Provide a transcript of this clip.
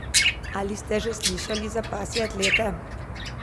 Ali ste že slišali za pasje atlete?